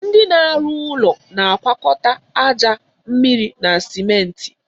Ndị na arụ ụlọ na agwakọta aja, mmịrị na simenti